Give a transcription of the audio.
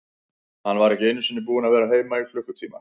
Hann var ekki einu sinni búinn að vera heima í klukkutíma.